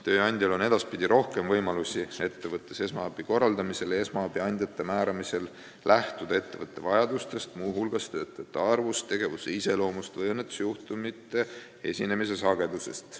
Tööandjal on edaspidi rohkem võimalusi ettevõttes esmaabi korraldamisel ja esmaabiandjate määramisel lähtuda ettevõtte vajadustest, muu hulgas töötajate arvust, tegevuse iseloomust või õnnetusjuhtumite esinemise sagedusest.